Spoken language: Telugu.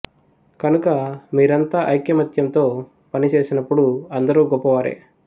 కనుక మీరంతా ఐకమత్యంతో పని చేసినప్పుడు అందరూ గొప్ప వారే